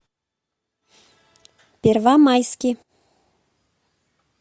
первомайский